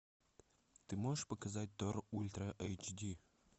ты можешь показать тор ультра эйч ди